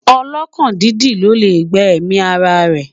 ọlọkàn dídì ló lẹ gbà èmi ará rè